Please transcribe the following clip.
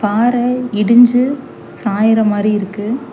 பாற இடிஞ்சு சாய்ர மாதிரி இருக்கு.